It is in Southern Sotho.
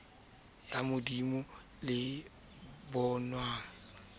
ya modumo le e bonwang